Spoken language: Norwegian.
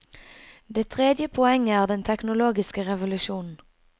Det tredje poenget er den teknologiske revolusjonen.